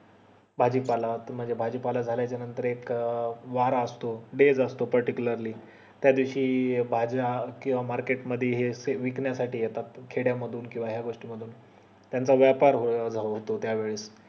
भाजीपाला म्हणजे भाजीपाला झल्या च्या नंतर एक वर असतो days असतो particularly त्या दिवशी भाज्या किव्हा market मध्ये हे सगळं विकण्या साठी येतात खेड्या मधून किव्हा या गोष्टी मधून त्याचा व्यापार जातो त्या वेळेस